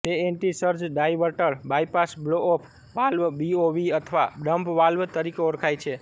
તે antisurge diverter bypass blowoff valve BOV અથવા dump valve તરીકે ઓળખાય છે